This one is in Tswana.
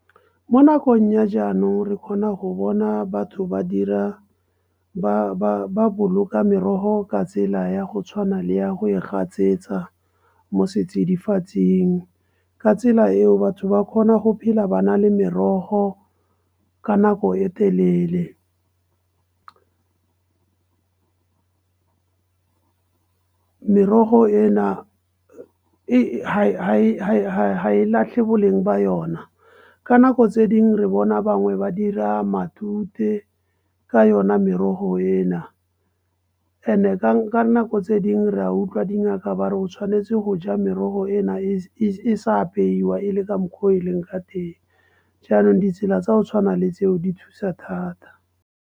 Mo nakong ya jaanong re kgona go bona batho ba dira ba boloka merogo ka tsela ya go tshwana le ya go e gatsetsa mo setsidifatsing. Ka tsela eo batho ba kgona go phela ba na le merogo ka nako e telele. Merogo ena ha e latlhe boleng ba yona. Ka nako tse dingwe re bona bangwe ba dira matute ka yona merogo ena. And-e nako tse dingwe re a utlwa dingaka ba re tshwanetse go ja merogo ena e sa apeiwa e le ka mokgwa o e leng ka teng jaanong ditsela tsa ho tshwana le tseo di thusa thata.